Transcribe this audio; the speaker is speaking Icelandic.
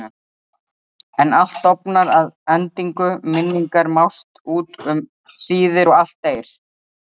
En allt dofnar að endingu, minningar mást út um síðir og allt deyr.